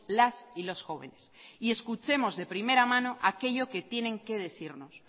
las y los jóvenes y escuchemos de primera mano aquello que tienen que decirnos